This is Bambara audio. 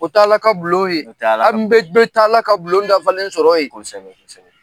O t'ala ka bulon ye o t'ala ka bulon yen aw bɛɛ be taa ala ka bulon dafalen sɔrɔ yen ksɛbɛ kosɛbɛ